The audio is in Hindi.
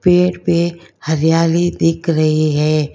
पेड़ पे हरियाली दिख रही है।